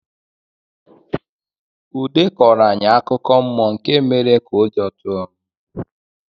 Ude kọọrọ anyị akụkọ mmụọ nke mere ka ụjọ tụọ m.